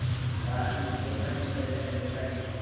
बारामती ते फलटण करीता रेल्वेगाडी